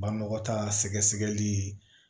Banbaga ta sɛgɛli